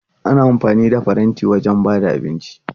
Ana amfani da faranti wajen ba da abinci.